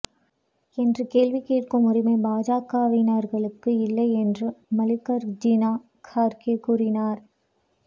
என்று கேள்வி கேட்கும் உரிமை பாஜகவினர்களுக்கு இல்லை என்றும் மல்லிகார்ஜுனா கார்கே கூறினார்